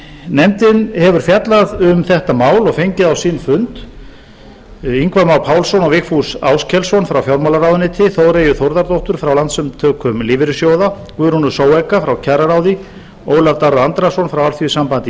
nefndin hefur fjallað um þetta mál og fengið á sinn fund ingva má pálsson og vigfús áskelsson frá fjármálaráðuneyti þóreyju þórðardóttur frá landssamtökum lífeyrissjóða guðrúnu frá kjararáði ólaf darra andrason frá alþýðusambandi